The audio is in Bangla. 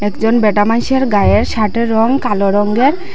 একজন ব্যাটা মাইনষের গায়ের শার্টের রং কালো রঙ্গের।